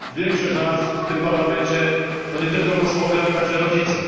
Większość z nas w tym Parlamencie to nie tylko posłowie, ale także rodzice.